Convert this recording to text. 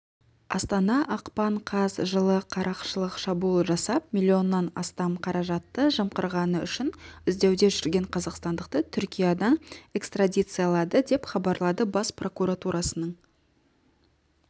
астана ақпан қаз жылы қарақшылық шабуыл жасап млн-нан астам қаражатты жымқырғаны үшін іздеуде жүрген қазақстандықты түркиядан экстрадициялады деп хабарлады бас прокуратурасының